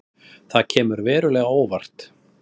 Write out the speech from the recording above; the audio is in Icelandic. Það kemur verulega á óvart